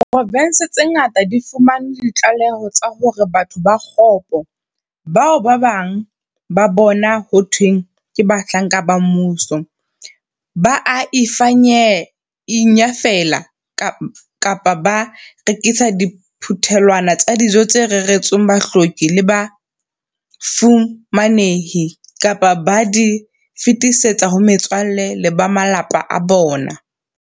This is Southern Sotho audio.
Diprovense tse ngata di fumane ditlaleho tsa hore batho ba kgopo, bao ba bang ba bona ho thweng ke bahlanka ba mmuso, ba a inyafela kapa ba rekisa diphuthelwana tsa dijo tse reretsweng bahloki le bafu-manehi, kapa ba di fetisetse ho metswalle le ba malapa a bona.